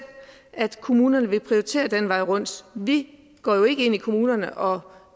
at kommunerne vil prioritere den vej rundt vi går jo ikke ind i kommunerne og